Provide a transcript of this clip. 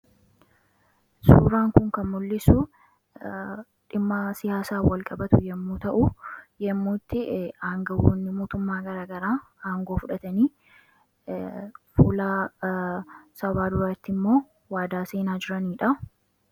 Suuraan kun kan mul'isu dhimma siyaasaan walqabatu yommuu ta'u yommuu itti aanga'oonni mootummaa garagaraa aangoo fudhatanii fuula sabaa duratti immoo waadaa seenaa jiraniidha